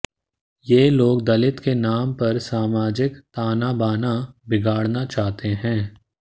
ये लोग दलित के नाम पर सामाजिक तानाबाना बिगाडऩा चाहते हैं